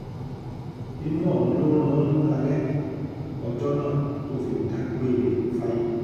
inú ọ̀hún ló rún un dalẹ̀ ọjọ́ náà tó fi dágbére fáyé